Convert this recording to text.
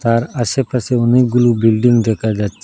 আর আশেপাশে অনেকগুলো বিল্ডিং দেখা যাচ--